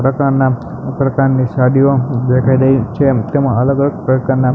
પ્રકારના પ્રકારની સાડીયો દેખાય રહી છે તેમા અલગ અલગ પ્રકારના--